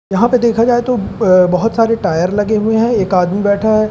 यहां पे देखा जाए तो ब अ बहोत सारे टायर लगे हुए हैं एक आदमी बैठा है।